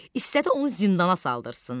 İstədi onu zindana saldırsın.